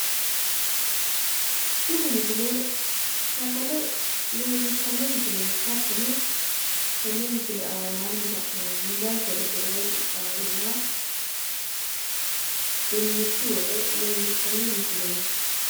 Tini misile sagale leellishshanno misileeti. Hattono tenne misile aanaanni la'neemmohu dancha gede rae qixxaweyoha dinnichu woxe leellishshanno misileeti.